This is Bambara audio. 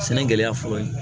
Sɛnɛ gɛlɛya fɔlɔ ye